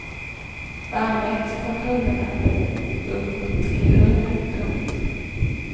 Varmrätter från hundralappen upp mot trehundra. punkt